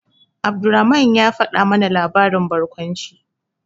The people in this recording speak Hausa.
Abdulrahman ya faɗa mana labarin barkwanci.